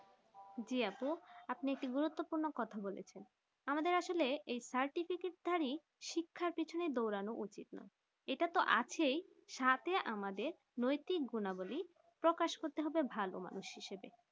জি আপু আপনি এখন গুরুপ্তপূর্রনো কথা বলেছেন আমাদের আসলে এই certificate ধারী শিক্ষার পিছনে দঁড়ানো উচিত নয় এটা তো আছে সাথে আমাদের নৈতিক গুনা বলি প্রকাশ করতে হবে ভালো মানুষ হিসাবে